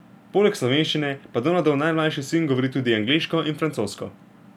Poleg slovenščine pa Donaldov najmlajši sin govori tudi angleško in francosko.